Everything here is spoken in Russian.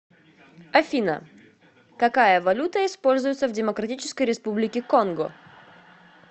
афина какая валюта используется в демократической республике конго